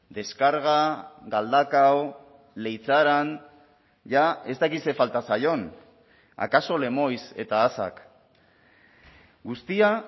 deskarga galdakao leitzaran jada ez dakit zer falta zaion akaso lemoiz eta asak guztia